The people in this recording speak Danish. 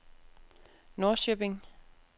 Norrköping